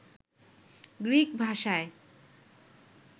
Greek ভাষায়